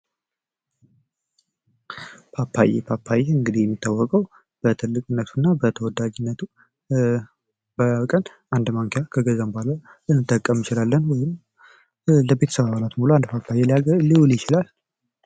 ፓፓዬ ፓፓዬ እንግዲህ የሚታወቀው በትልቅነቱ እና በተወዳጅነቱ በቀን አንድ ማንኪያ ከገዛን በኋላ ልንጠቀም እንችላለን። ይህም ለቤተሰብ አባላት በሙሉ አንድ ፓፓዬ ሊውል ይችላል።